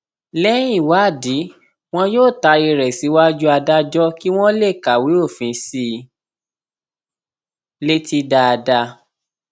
bíótilẹ um jẹpé àgùntàn ya òmùgọ lójú àwa ọmọ ènìà aṣáájú ni wọn um jẹ nípa ìwà